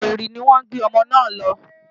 Owerri ni wọ́n gbé ọmọ náà lọ.